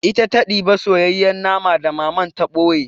Ita ta ɗiba soyayyen naman da Mama to ɓoye.